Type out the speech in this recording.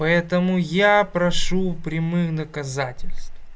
поэтому я прошу прямых доказательств